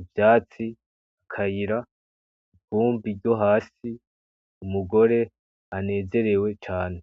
ivyatsi, akayira, ivumbi ryo hasi, umugore anezerewe cane.